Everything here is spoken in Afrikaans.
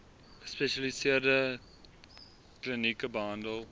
gespesialiseerde tbklinieke behandel